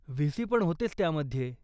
व्ही.सी.पण होतेच त्यामध्ये.